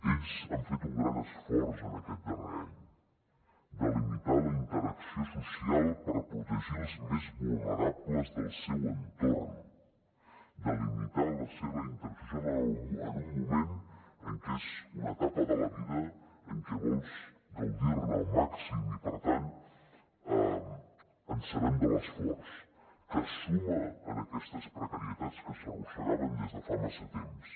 ells han fet un gran esforç en aquest darrer any de limitar la interacció social per protegir els més vulnerables del seu entorn de limitar la seva interacció en un moment en què és una etapa de la vida en què vols gaudir ne al màxim i per tant en sabem l’esforç que es suma en aquestes precarietats que s’arrossegaven des de fa massa temps